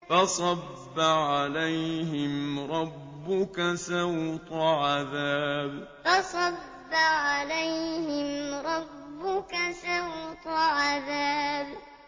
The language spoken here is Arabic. فَصَبَّ عَلَيْهِمْ رَبُّكَ سَوْطَ عَذَابٍ فَصَبَّ عَلَيْهِمْ رَبُّكَ سَوْطَ عَذَابٍ